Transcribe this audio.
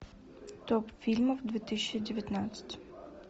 топ фильмов две тысячи девятнадцать